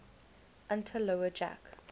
unter lower jack